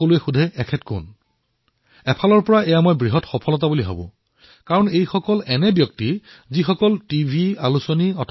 দৈতাৰি নায়কে নিজৰ গাঁৱত নিজে হাতেৰে পাহাৰ কাটি তিনি কিলোমিটাৰ পৰ্যন্ত পথ নিৰ্মাণ কৰিছে